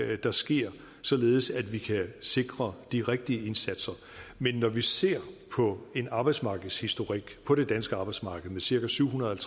er der sker således at vi kan sikre de rigtige indsatser men når vi ser på en arbejdsmarkedshistorik på det danske arbejdsmarked med cirka syvhundrede og